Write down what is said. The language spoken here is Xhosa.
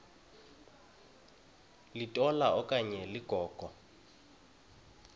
litola okanye ligogo